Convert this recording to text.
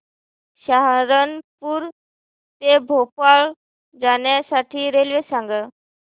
सहारनपुर ते भोपाळ जाण्यासाठी रेल्वे सांग